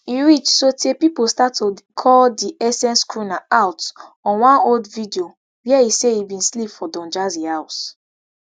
e reach sotay pipo start to call di essence crooner out on one old video wia e say e bin sleep for don jazzy house